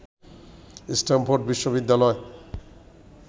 Stamford বিশ্ববিদ্যালয়